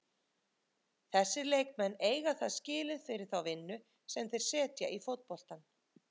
Þessir leikmenn eiga það skilið fyrir þá vinnu sem þeir setja í fótboltann.